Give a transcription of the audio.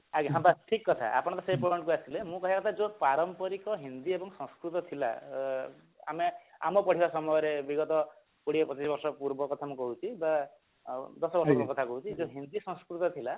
ଆଜ୍ଞା ବସ ଠିକ କଥା ଆପଣ ସେ ପର୍ଯ୍ୟନ୍ତ ଆସିଲେ ମୋର କହିବା କଥା ଯୋଉ ପାରମ୍ପରିକ ହିନ୍ଦୀ ଆଉ ସଂସ୍କୃତ ଥିଲା ତ ଆମେ ଆମ ପଢିବା ସମୟରେ ବିଗତ କୋଡିଏ ପଚିଶି ବର୍ଷ ପୁର୍ବ କଥା ମୁଁ କହୁଛି ତ ଦଶବର୍ଷ ତଳ କଥା ମୁଁ କହୁଛି ସଂସ୍କୃତ ଥିଲା